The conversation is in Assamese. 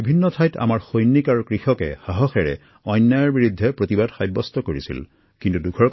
দেশৰ ভিন্ন প্ৰান্তত আমাৰ যুৱকযুৱতী আৰু কৃষকে অন্যায়ৰ বিৰুদ্ধে মাত মাতি সাহসিকতাৰ পৰিচয় দিছিল